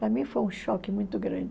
Para mim foi um choque muito grande.